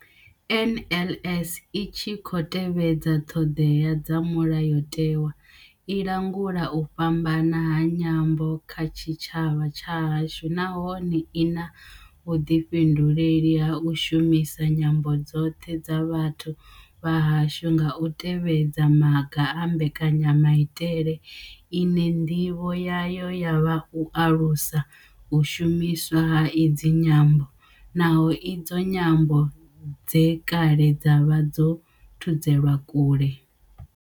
NLS I tshi khou tevhedza ṱhodea dza Mulayotewa, i langula u fhambana ha nyambo kha tshitshavha tshahashu nahone I na vhuḓifhinduleli ha u shumisa nyambo dzoṱhe dza vhathu vha hashu nga u tevhedza maga a mbekanyamaitele ine nḓivho yayo ya vha u alusa u shumiswa ha idzi nyambo, na idzo nyambo dze kale dza vha dzo thudzelwa kule.